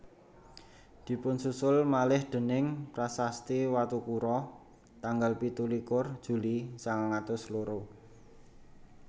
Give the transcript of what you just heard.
Dipunsusul malih déning prasasti Watukura tanggal pitu likur Juli sangang atus loro